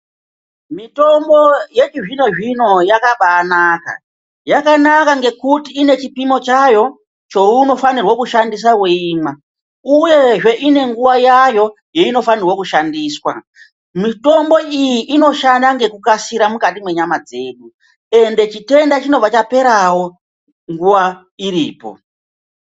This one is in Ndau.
Mitombo yechizvinozvino yakabaanaka. Yakanaka ngekuti ine chipimo chayo chounofanirwe kushandisa weimwa uyezve ine nguwa yayo yeinofanirwe kushandiswa. Mitombo iyi inoshanda ngekukasira mukati mwenyama dzedu ende chitenda chinobva chaperawo nguwa iripo.